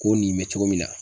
K'o nin bɛ cogo min na.